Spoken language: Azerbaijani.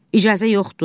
İcazə yoxdur.